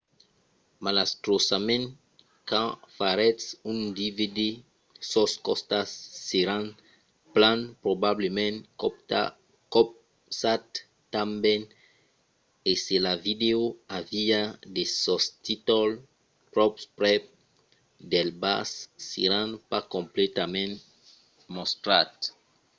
malastrosament quand faretz un dvd sos costats seràn plan probablament copats tanben e se la vidèo aviá de sostítols tròp prèp del bas seràn pas completament mostrats